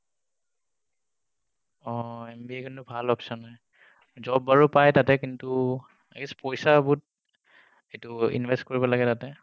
অ, MBA কিন্তু ভাল option হয়। Job বাৰু পাই তাতে কিন্তু পইছা বহুত এইটো invest কৰিব লাগে তাতে।